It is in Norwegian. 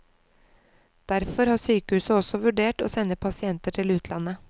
Derfor har sykehuset også vurdert å sende pasienter til utlandet.